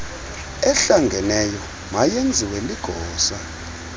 ehlangeneyo mayenziwe ligosa